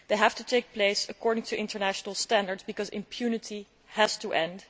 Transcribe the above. These have to take place in line with international standards because impunity has to end.